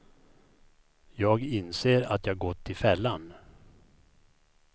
Jag inser att jag gått i fällan.